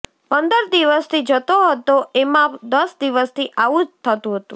પંદર દિવસથી જતો હતો એમાં દસ દિવસથી આવું જ થતું હતું